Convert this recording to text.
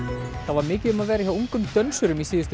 var mikið um að vera hjá ungum dönsurum í síðustu